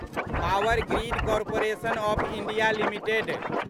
power grid corporation of India limited